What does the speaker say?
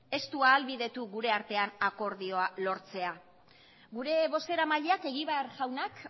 ez du ahalbidetu gure artean akordioa lortzea gure bozeramaileak egibar jaunak